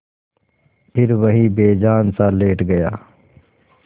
फिर वहीं बेजानसा लेट गया